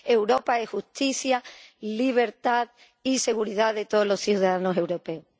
Europa es justicia, libertad y seguridad de todos los ciudadanos europeos.